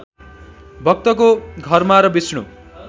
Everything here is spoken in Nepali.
भक्तको घरमा र विष्णु